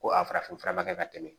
Ko a farafin fura man kɛ ka tɛmɛ